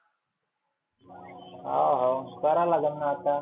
हा हाव करा लागण आता.